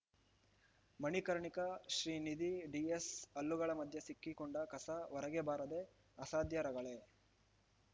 Manikarnika Shrinidhi D S ಹಲ್ಲುಗಳ ಮಧ್ಯೆ ಸಿಕ್ಕಿಕೊಂಡ ಕಸ ಹೊರಗೆ ಬಾರದೇ ಅಸಾಧ್ಯ ರಗಳೆ